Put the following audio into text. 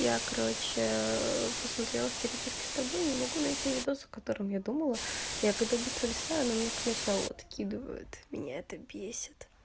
я короче посмотрела в переписке с тобой не могу найти видос о которым я думала я когда быстро листаю оно мне к началу откидывают меня это бесит